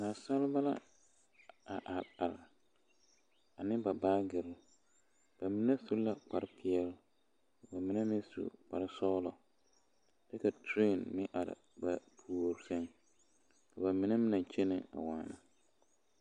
Dasɔreba a are are ane ba baagere bamine su la kparepeɛle bamine meŋ su kpare sɔglɔ kyɛ teree meŋ are ba puori sɛŋ bamine naŋ kyɛ waana.